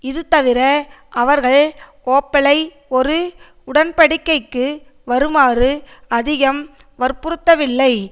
இது தவிர அவர்கள் ஓப்பலை ஒரு உடன்படிக்கைக்கு வருமாறு அதிகம் வற்புறுத்தவில்லை